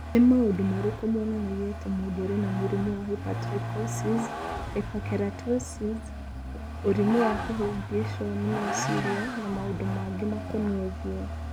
Nĩ maũndũ marĩkũ monanagia atĩ mũndũ arĩ na mũrimũ wa Hypertrichosis, hyperkeratosis, ũrimũ wa kũhĩngĩcwo nĩ meciria, na maũndũ mangĩ makoniĩ ũthiũ?